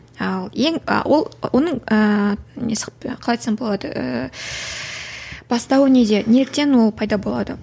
ал ең ы ол оның ыыы несі қалай айтсам болады ііі бастауы неде неліктен ол пайда болады